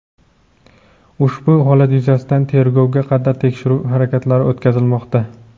Ushbu holat yuzasidan tergovga qadar tekshiruv harakatlari o‘tkazilmoqda.